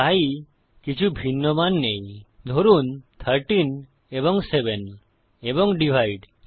তাই কিছু ভিন্ন মান নেই ধরুন 13 এবং 7 এবং ডিভাইড